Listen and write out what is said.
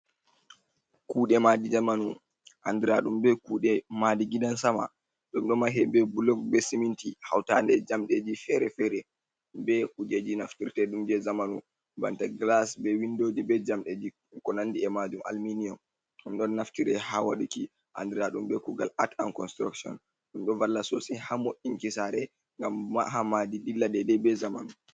Kude madi zamanu andradum be kude madi gidan sama dum do mahe be blog be siminti hautande jamdeji fere-fere be kujeji naftirtedum je zamanu, banta glas, be windoji, be jamdeji ko nandi e majum, alminian dum don naftire ha waduki andradum be kugal at and construction dom do walla sose hamo inkisare ngam mahamadi dilla dede be jamanu.